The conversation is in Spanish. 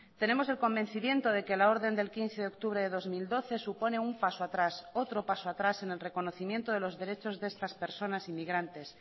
tenemos el convencimiento de que la orden del quince de octubre de dos mil doce supone un paso atrás otro paso atrás en el reconocimiento de los derechos de estas personas inmigrantes